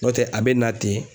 N'o tɛ a bɛ na ten